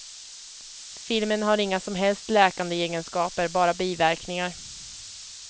Filmen har inga som helst läkande egenskaper, bara biverkningar.